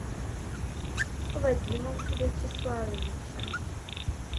вадимом вячеславовичем